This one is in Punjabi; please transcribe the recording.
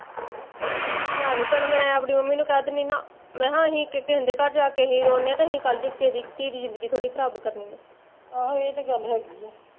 ਨਾ ਨੀ ਭੈਣਾਂ ਮੈਂ ਆਪਣੀ ਮੰਮੀ ਨੂੰ ਕਹਿ ਦਿੰਦੀ ਨਾ, ਮੈਂ ਕਿਹਾਂ ਅਸੀਂ ਕਿਸੇ ਦੇ ਘਰ ਜਾਂ ਕੇ ਰੋਂਣ ਡਏ ਆ ਤੇ ਅਸੀਂ ਕੱਲ ਨੂੰ ਕਿਸੀ ਦੀ ਧੀ ਦੀ ਜ਼ਿੰਦਗੀ ਥੋੜੀ ਖਰਾਬ ਕਰਣੀ ਆ